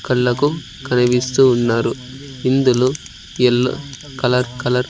కళ్ళకు కనిపిస్తూ ఉన్నారు ఇందులో ఎల్లో కలర్ కలర్ --